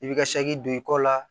I bɛ ka don i kɔ la